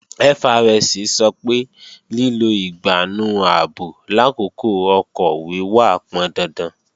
FRSC sọ pé lílo ìgbánú ààbò làkókò ọkọ̀ wíwà pọndandan